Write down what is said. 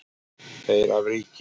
Þeir af ríki